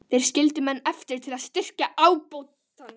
Þeir skildu menn eftir til að styrkja ábótann.